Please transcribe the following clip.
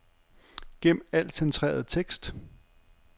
Gem al centreret tekst.